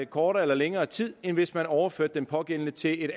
kortere eller længere tid end hvis man overførte den pågældende til et